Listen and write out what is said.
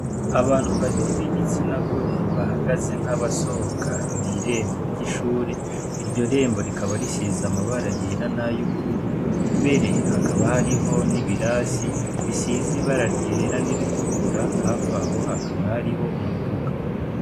Abantu babiri b'igitsina gore bahagaze nk'abasohoka mw'irembo ry'ishure. Iryo rembo rikaba risize amabara yera n'ay'ubururu, mbere hakaba hariho n'ibirasi bisize ibara ryera n'iritukura hafi aho hakaba hariho umuduga.